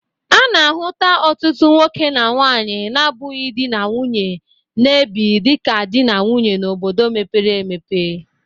A na-ahụta ọtụtụ nwoke na nwaanyị na-abụghi dị na nwunye na-ebi dịka dị na nwunye n'obodo mepere emepe.